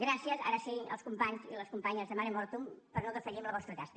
gràcies ara sí als companys i a les companyes de mare mortum per no defallir en la vostra tasca